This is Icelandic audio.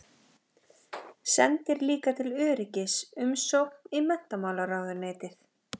Sendir líka til öryggis umsókn í menntamálaráðuneytið.